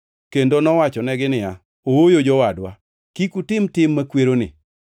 kendo nowachonegi niya, “Ooyo jowadwa, kik utim tim makweroni!